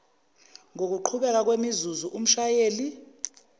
ngokuqhubeka kwemizuzu umshayeli